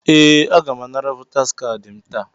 Ee! Aga m anara votaas kaadị m taa.